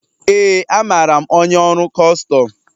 Ee, amaara m onye ọrụ Kustum